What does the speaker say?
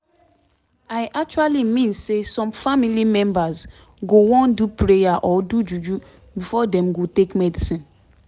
i actually mean say some family members go wan do prayer or do juju before dem go take medicine